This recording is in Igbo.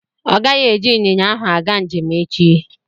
Ọ gaghị eji ịnyịnya ahụ aga njem echi.